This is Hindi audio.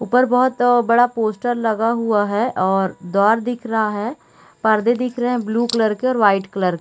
ऊपर बहुत बड़ा पोस्टर लगा हुआ है और द्वार दिख रहा है पर्दे दिख रहे हैं ब्लू कलर के और वाइट कलर के--